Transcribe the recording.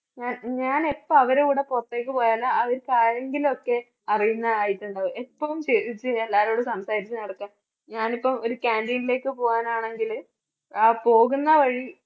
ഞാൻ ഞാൻ എപ്പോ അവരുടെ കൂടെ പുറത്തേക്ക് പോയാലും അവര്ക്ക് ആരെങ്കിലും ഒക്കെ അറിയുന്നതായിട്ട് ഉണ്ടാകും. എപ്പോഴും ചിരിച്ച് എല്ലാവരോടും സംസാരിച്ചു നടക്കാൻ ഞാനിപ്പോ ഒരു canteen ലേക്ക് പോകാനാണെങ്കില് ആ പോകുന്ന വഴി